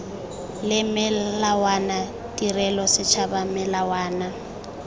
le melawana tirelo setšhaba melawana